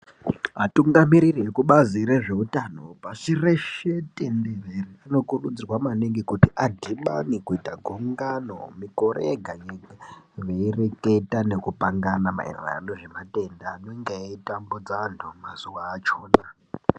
Atungamiriri vekubazi rezveutano pasi reshe tenderere vanokurudzirwa maningi kut adhibane kuita gungano mikore ega ega veireketa nekupangana maererano nezvematenda anenge eitambudza vanhu mazuva achona.